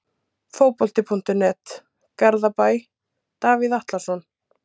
Fótbolti.net, Garðabæ- Davíð Atlason.